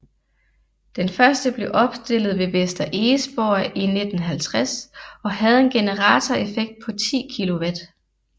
Den første blev opstillet ved Vester Egesborg i 1950 og havde en generatoreffekt på 10 kW